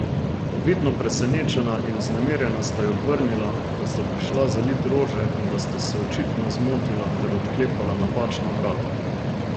Vidno presenečena in vznemirjena sta ji odvrnila, da sta prišla zalit rože in da sta se očitno zmotila ter odklepala napačna vrata.